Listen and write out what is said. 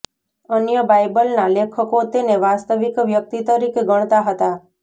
અન્ય બાઈબલના લેખકો તેને વાસ્તવિક વ્યક્તિ તરીકે ગણતા હતા